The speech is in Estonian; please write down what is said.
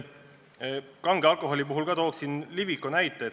Kange alkoholi puhul ma toon Liviko näite.